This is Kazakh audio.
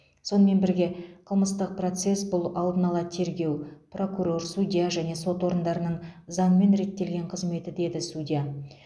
сонымен бірге қылмыстық процесс бұл алдын ала тергеу прокурор судья және сот органдарының заңмен реттелген қызметі деді судья